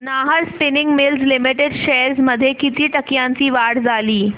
Nahar spinning mills limited shares मध्ये किती टक्क्यांची वाढ झाली